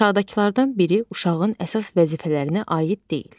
Aşağıdakılardan biri uşağın əsas vəzifələrinə aid deyil.